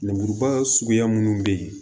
Lemuruba suguya minnu be yen